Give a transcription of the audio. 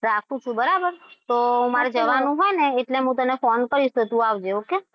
રાખું છું બરાબર. તો મારે જવાનું હોય ને એટલે હું તને phone કરીશ એટલે તું આવજે. okay?